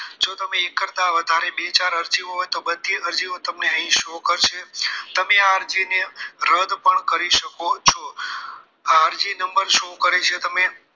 જો તમે એક કરતાં બે ચાર વધારે અરજી હોય તો બધી અરજીઓ તમને અહીં show કરશે તમે આ અરજીને રદ પણ કરી શકો છો આ અરજી નંબર show કરે છે તમે